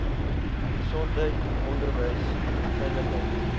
gesondheid onderwys veiligheid